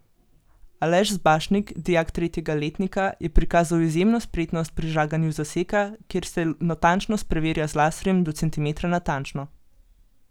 Aleš Zbašnik, dijak tretjega letnika, je prikazal izjemno spretnost pri žaganju zaseka, kjer se natančnost preverja z laserjem do centimetra natančno.